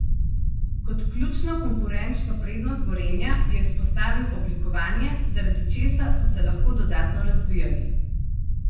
Kot ključno konkurenčno prednost Gorenja je izpostavil oblikovanje, zaradi česa so se lahko dodatno razvijali.